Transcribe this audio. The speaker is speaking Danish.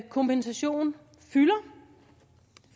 kompensation